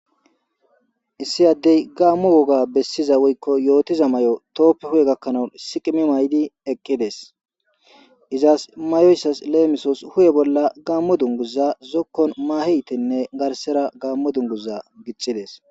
Issi addey gaammo woga bessiza woykko yootiza may7o tooppe huye gakkanawun siqimi maydi eqqides izas mayoyssas leemisos huye bolla gaammo dunguza zokkon maaheytenne garsera gaammo dunguza gichides